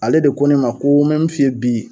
Ale de ko ne ma ko me mun f'i ye bi